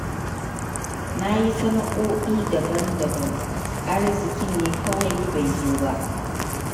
Na yi sana'oi'i daban-daban, arzikin ne kawai bai zo ba.